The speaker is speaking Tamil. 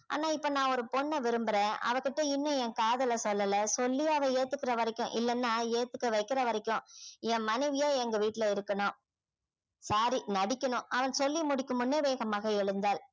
ஆனா இப்ப நான் ஒரு பெண்ணை விரும்புறேன் அவகிட்ட இன்னும் என் காதலை சொல்லல சொல்லி அவ ஏத்துக்கிற வரைக்கும் இல்லனா ஏத்துக்க வைக்கிற வரைக்கும் என் மனைவியா எங்க வீட்ல இருக்கணும் sorry நடிக்கணும் அவன் சொல்லி முடிக்கும் முன்னே வேகமாக எழுந்தாள்